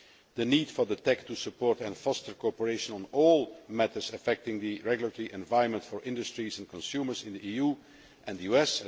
the need for the TEC to support and foster cooperation on all matters affecting the regulatory environment for industries and consumers in the EU and the US